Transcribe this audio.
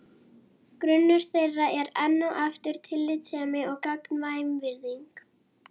Grunnur þeirra er enn og aftur tillitssemi og gagnkvæm virðing.